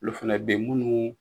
Olu fɛnɛ anaunɛbe yen. Munnu